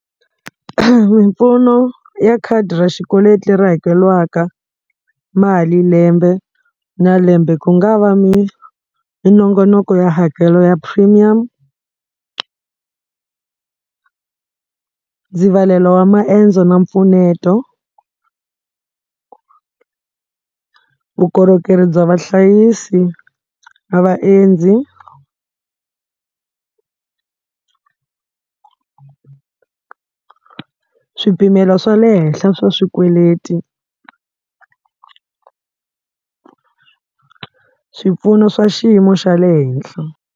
Mimpfuno ya khadi ra xikweleti leri hakeliwaka mali lembe na lembe ku nga va minongonoko ya hakelo ya premium ndzivalelo wa maendzo na mpfuneto vukorhokeri bya vahlayisi na vaendzi swipimelo swa le henhla swa swikweleti swipfuno swa xiyimo xa le henhla.